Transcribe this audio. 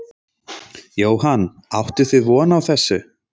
Jóhann: Áttuð þið von á þessu?